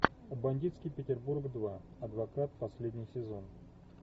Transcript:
бандитский петербург два адвокат последний сезон